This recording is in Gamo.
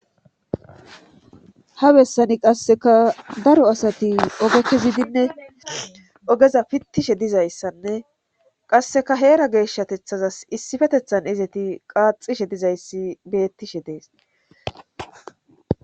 ha bessani qasseka daro asati oge kezidinne ogeza pittishe dizayssanne qasseka heera geeshshatethazas issifetethan izati qaaxishe dizayssi bettishe dees